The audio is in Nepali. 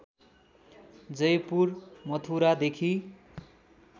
जयपुर मथुरादेखि